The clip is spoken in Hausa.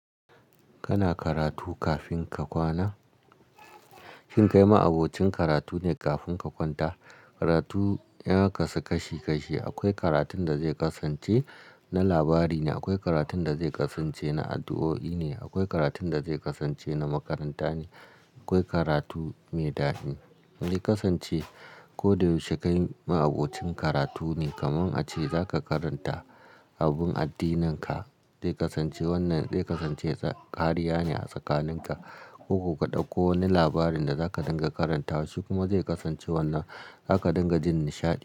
Kana karatu kafin ka kwana? Shin kai ma'abocin karatu ne kafin ka kwanta? Karatu ya kasu kashi kashi. Akwai karatun da zai kasance na labari ne, akwai karatun da zai kasance na addu'o'i ne, akwai karatun da zai kasance na makaranta ne, akwai karatu mai dadi. Ya kasance ko da yaushe kai ma'abocin karatu ne. Kamun a ce za ka karanta abun addinin ka, zai kasance wannan zai kasance kariya ne a tsakanin ka. Koko ka ɗauko wani labarin da za ka dinga karanta shi kuma zai kasance wannan za ka dinga jin nishaɗi.